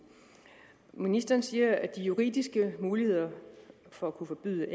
ministeren siger at de juridiske muligheder for at kunne forbyde